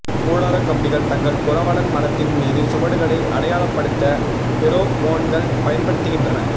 கூடாரக் கம்பிகள் தங்கள் புரவலன் மரத்தின் மீது சுவடுகளை அடையாளப்படுத்த பெரோமோன்கள் பயன்படுத்துகின்றன